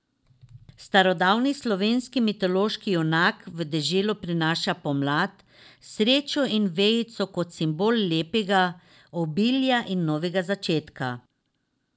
Starodavni slovanski mitološki junak v deželo prinaša pomlad, srečo in vejico kot simbol lepega, obilja in novega začetka.